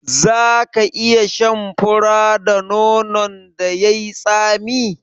Za ka iya shan fura da nonon da yai tsami?